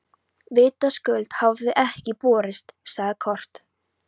Vitaskuld hafa þau ekki borist, sagði Kort.